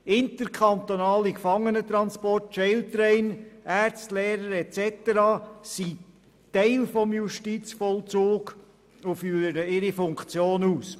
Interkantonale Gefangenentransporte, Jail Trail, Ärzte, Lehrer usw. sind Teil des Justizvollzugs und führen ihre Funktion aus.